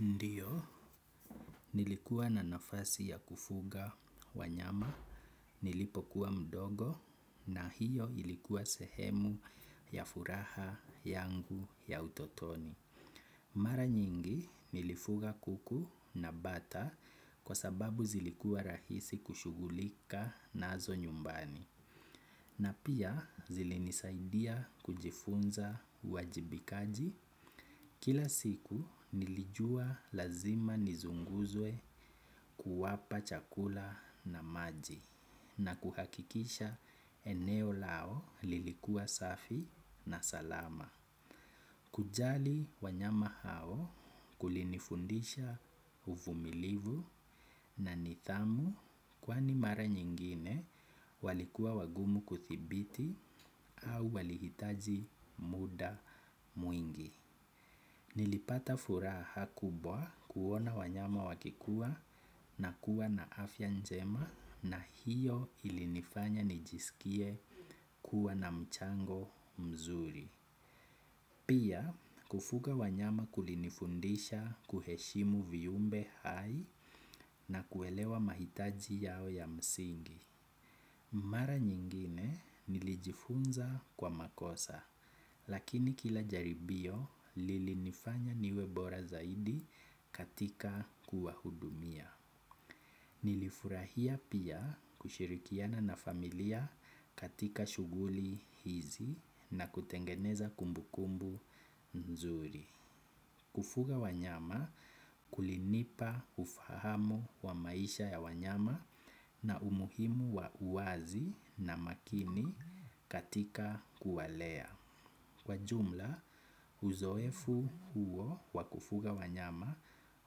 Ndiyo nilikuwa na nafasi ya kufuga wa nyama nilipokuwa mdogo na hiyo ilikuwa sehemu ya furaha yangu ya utotoni. Mara nyingi nilifuga kuku na bata kwa sababu zilikuwa rahisi kushugulika nazo nyumbani. Na pia zilinisaidia kujifunza uwajibikaji kila siku nilijua lazima nizunguzwe kuwapa chakula na maji na kuhakikisha eneo lao lilikuwa safi na salama. Kujali wanyama hao kulinifundisha uvumilivu na nithamu kwani mara nyingine walikuwa wagumu kuthibiti au walihitaji muda mwingi. Nilipata furaha kubwa kuona wanyama wakikuwa na kuwa na afya njema na hiyo ilinifanya nijisikie kuwa na mchango mzuri. Pia kufuga wanyama kulinifundisha kuheshimu viumbe hai na kuelewa mahitaji yao ya msingi. Mara nyingine nilijifunza kwa makosa, lakini kila jaribio lilinifanya niwebora zaidi katika kuwa hudumia. Nilifurahia pia kushirikiana na familia katika shughuli hizi na kutengeneza kumbu kumbu nzuri. Kufuga wanyama kulinipa ufahamu wa maisha ya wanyama na umuhimu wa uwazi na makini katika kuwalea. Kwa jumla uzoefu huo wa kufuga wanyama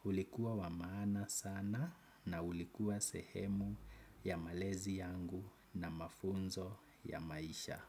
ulikuwa wamaana sana na ulikuwa sehemu ya malezi yangu na mafunzo ya maisha.